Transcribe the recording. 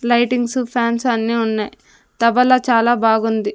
Lightings fans అన్నీ ఉన్నాయ్ తబలా చాలా బాగుంది.